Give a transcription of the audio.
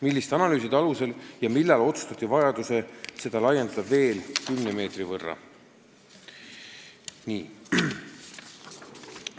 Milliste analüüside alusel ja millal otsustati vajadus seda laiendada veel 10 meetri võrra?